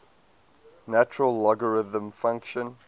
natural logarithm function